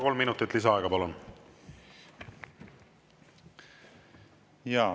Kolm minutit lisaaega, palun!